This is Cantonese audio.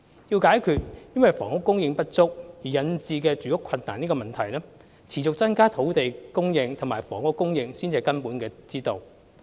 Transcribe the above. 要解決因房屋供應不足而引致住屋困難的問題，持續增加土地和房屋供應方為根本之道。